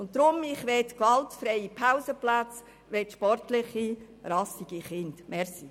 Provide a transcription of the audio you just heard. Deshalb: Ich möchte gewaltfreie Pausenplätze und sportliche, rassige Kinder.